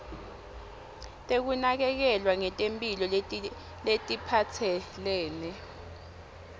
tekunakekelwa ngetemphilo letiphatselene